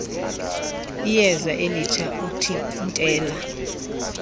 iyeza elitsha uthintela